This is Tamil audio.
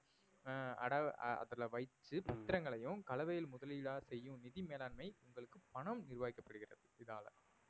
ஆஹ் அட~ அதுல வைச்சு பத்திரங்களையும் கலவையில் முதலீடா செய்யும் நிதி மேலாண்மை உங்களுக்கு பணம் நிர்வாகிக்கப்படுகிறது இதால